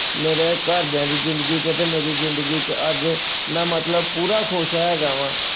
ਮੇਰਿਆਂ ਘਰ ਦਿਆਂ ਜ਼ਿੰਦਗੀ ਚ ਅਤੇ ਮੇਰੀ ਜ਼ਿੰਦਗੀ ਚ ਅੱਜ ਮੈਂ ਮਤਲਬ ਪੂਰਾ ਖੁਸ਼ ਹੈ ਹੈਗਾ ਵਾਂ।